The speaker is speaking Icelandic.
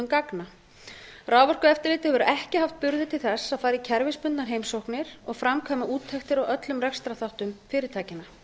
gagna raforkueftirlitið hefur ekki haft burði til þess að fara í kerfisbundnar heimsóknir og framkvæma úttektir á öllum rekstrarþáttum fyrirtækjanna